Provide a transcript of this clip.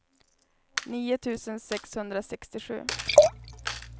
nio tusen sexhundrasextiosju